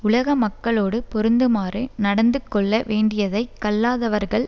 உலக மக்களோடு பொருந்துமாறு நடந்துகொள்ள வேண்டியதை கல்லாதவர்கள்